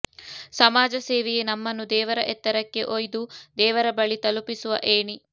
ಸಮಾಜಸೇವೆಯೇ ನಮ್ಮನ್ನು ದೇವರ ಎತ್ತರಕ್ಕೆ ಒಯ್ದು ದೇವರ ಬಳಿ ತಲುಪಿಸುವ ಏಣಿ